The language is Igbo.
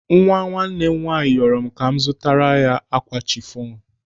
Nwa nwanne m nwaanyị rịọrọ m ka m zụtara ya ákwà chifọn.